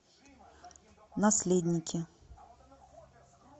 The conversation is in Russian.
наследники